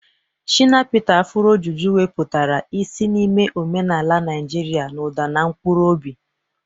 Shina Peter's Afuro Juju weputara isi n'ime omenaala Naijiria n'ụda na mkpụrụ obi.